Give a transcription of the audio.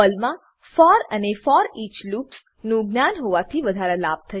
પર્લમાં ફોર અને foreach loops નું જ્ઞાન હોવાથી વધારાના લાભ થશે